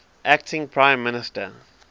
acting prime minister